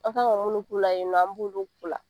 An kan ka minnu k'u la yen nɔ an b'olu k'u la